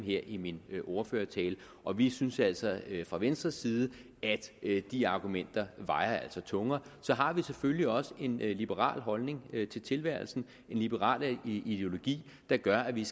her i min ordførertale og vi synes altså fra venstres side at de argumenter vejer tungere så har vi selvfølgelig også en liberal holdning til tilværelsen en liberal ideologi der gør at vi